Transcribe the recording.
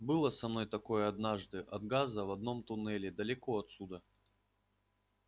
было со мной такое однажды от газа в одном туннеле далеко отсюда